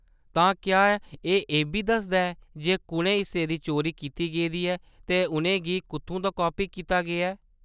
तां क्या एह्‌‌ इ'ब्बी दसदा ऐ जे कुʼनें हिस्सें दी चोरी कीती गेदी ऐ ते उʼनें गी कुʼत्थूं दा कापी कीता गेदा ऐ ?